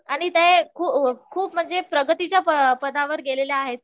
आणि ते खूप म्हणजे प्रगतीच्या पदावर गेलेले आहेत